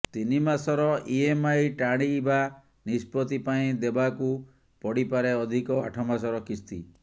ତିନି ମାସର ଇଏମ୍ଆଇ ଟାଳିବା ନିଷ୍ପତ୍ତି ପାଇଁ ଦେବାକୁ ପଡିପାରେ ଅଧିକ ଆଠ ମାସର କିସ୍ତି